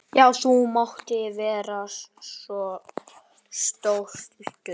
Já, þú mátt vera stoltur.